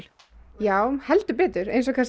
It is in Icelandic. já heldur betur eins og